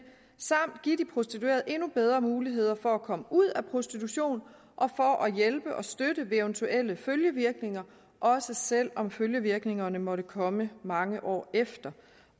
samt give de prostituerede endnu bedre muligheder for at komme ud af prostitution og hjælpe og støtte ved eventuelle følgevirkninger også selv om følgevirkningerne måtte komme mange år efter